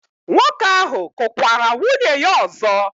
Nwoke ahụ kụkwara nwunye ya ọzọ?